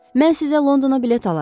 Mən sizə Londona bilet alaram.